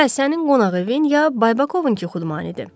Hə, sənin qonaq evin ya Baybakovunkı xudmanidir.